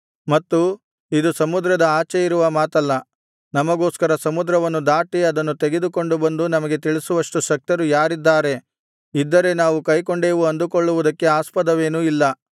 ಮತ್ತು ಇದು ಸಮುದ್ರದ ಆಚೆ ಇರುವ ಮಾತಲ್ಲ ನಮಗೋಸ್ಕರ ಸಮುದ್ರವನ್ನು ದಾಟಿ ಅದನ್ನು ತೆಗೆದುಕೊಂಡುಬಂದು ನಮಗೆ ತಿಳಿಸುವಷ್ಟು ಶಕ್ತರು ಯಾರಿದ್ದಾರೆ ಇದ್ದರೆ ನಾವು ಕೈಕೊಂಡೇವು ಅಂದುಕೊಳ್ಳುವುದಕ್ಕೆ ಆಸ್ಪದವೇನೂ ಇಲ್ಲ